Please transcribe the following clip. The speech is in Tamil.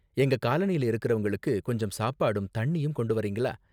எங்க காலனில இருக்குறவங்களுக்கு கொஞ்சம் சாப்பாடும் தண்ணியும் கொண்டு வர்றீங்களா?